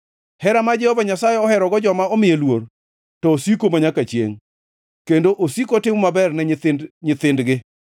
Hera ma Jehova Nyasaye oherogo joma omiye luor, to osiko manyaka chiengʼ, kendo osiko otimo maber ne nyithind nyithindgi,